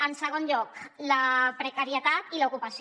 en segon lloc la precarietat i l’ocupació